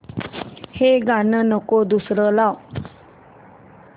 हे गाणं नको दुसरं लाव